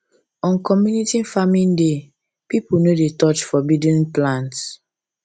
on community farming day people no dey touch forbidden um plants